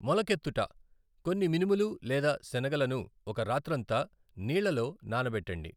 మొలకెత్తుట కొన్ని మినుములు లేదా శనగలను ఒక రాత్రంతా నీళ్ళలో నానబెట్టండి.